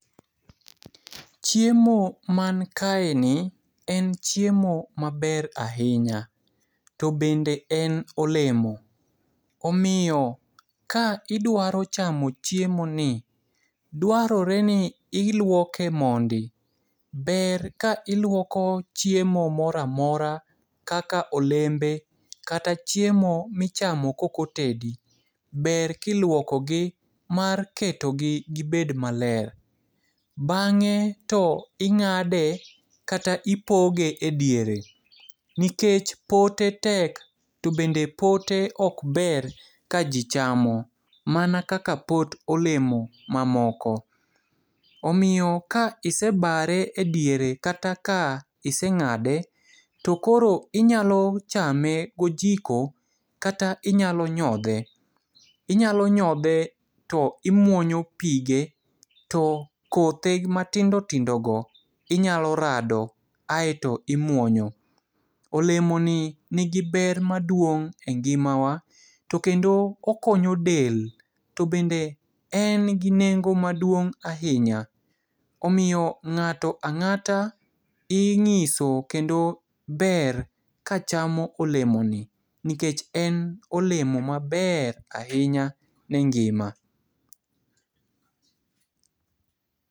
Chiemo mankaeni, en chiemo maber ahinya. To bende en olemo. Omiyo ka idwaro chamo chiemoni, dwaroreni iluoke mondi. Ber ka iluoko chiemo moramora kaka olembe, kata chiemo michamo kokotedi. Ber kiluokogi mar ketogi gibed maler. Bang'e to ing'ade kata ipoge e diere, nikech pote tek to bende pote okber ka ji chamo. Mana kaka pot olemo mamoko. Omiyo ka isibare e diere kata ka iseng'ade, to koro inyalo chame gojiko kata inyalo nyodhe. Inyalo nyodhe to imuonyo pige to kothe matindo tindogo inyalo rado aeto imwonyo. Olemoni nigi ber maduong' e ngimawa. To kendo okonyo del. To bende en gi nengo maduong' ahinya. Omiyo ng'ato ang'ata ing'iso kendo ber kachamo olemoni, nikech en olemo maber ahinya ne ngima.